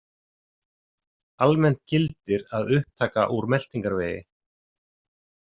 Almennt gildir að upptaka úr meltingarvegi.